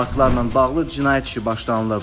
Faktlarla bağlı cinayət işi başlanılıb.